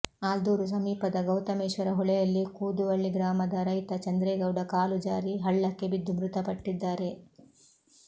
ಆಲ್ದೂರು ಸಮೀಪದ ಗೌತಮೇಶ್ವರ ಹೊಳೆಯಲ್ಲಿ ಕೂದುವಳ್ಳಿ ಗ್ರಾಮದ ರೈತ ಚಂದ್ರೇಗೌಡ ಕಾಲು ಜಾರಿ ಹಳ್ಳಕ್ಕೆ ಬಿದ್ದು ಮೃತಪಟ್ಟಿದ್ದಾರೆ